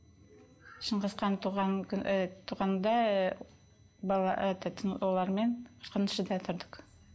шыңғысхан туған ыыы туғанда ыыы олармен қырқыншыда тұрдық